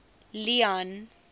leone